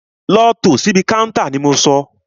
Lọ tò síbi káúntá ni mo sọ!